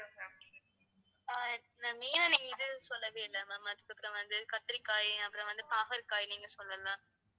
கத்திரிக்காய் அப்புறம் வந்து பாகற்காய் நீங்கள் சொல்லல